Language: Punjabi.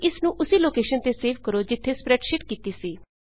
ਅਤੇ ਇਸਨੂੰ ਉਸੀ ਲੋਕੇਸ਼ਨ ਤੇ ਸੇਵ ਕਰੋ ਜਿੱਥੇ ਸਪ੍ਰੈਡਸ਼ੀਟ ਕੀਤੀ ਸੀ